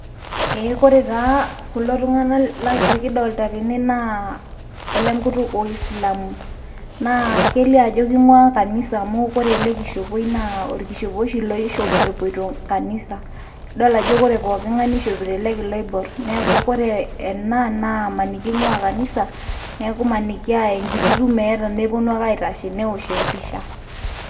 ee kore taa kulo tungan likidolita tene, naa ole nkutuk oisilamu. naa kelio ajo keing'ua kanisa amu ore ele kishopioi naa orkishopo oshi oishop epoito kanisa. idol ajo ore pooking'ae neishopito ele kila oibor. neeku ore ena naa emaniki inguaa ing'uaa kanisa. neku maniki naa enkiti tumo eeta nepuonu ake aosh empisha.